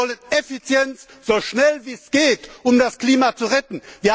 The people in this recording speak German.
Wir wollen Effizienz, so schnell wie es geht, um das Klima zu retten!